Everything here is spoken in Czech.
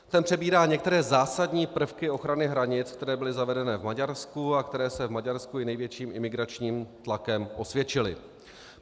Ten přebírá některé zásadní prvky ochrany hranic, které byly zavedené v Maďarsku a které se v Maďarsku i největším imigračním tlakem osvědčily.